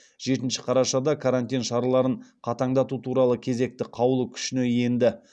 жетінші қарашада карантин шараларын қатаңдату туралы кезекті қаулы күшіне енді